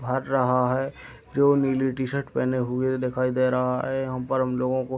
भर रहा है जो नीली टी-शर्ट पहने हुए दिखाई दे रहा है। यहाँ पर हम लोगों को --